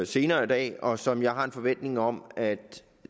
senere i dag og som jeg har en forventning om at